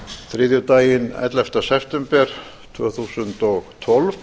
þriðjudaginn ellefta september tvö þúsund og tólf